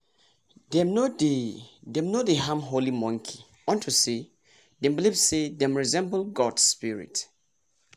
dem no dey dem no dey harm holy monkey unto say dem believe say dem resemble gods spirit